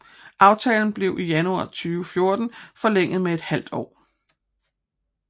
Aftalen blev i januar 2014 forlænget med et halvt år